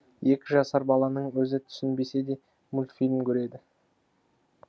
екі жасар баланың өзі түсінбесе де мультфильм көреді